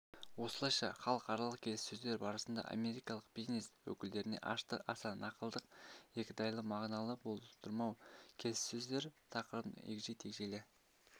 осылайша халықаралық келіссөздер барысында америкалық бизнес өкілдерінде ашықтық аса нақтылық екідайлы мағынаны болдырмау келіссөздер тақырыбын егжей-тегжейлі